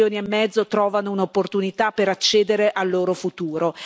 Tre milioni e mezzo trovano un'opportunità per accedere al loro futuro.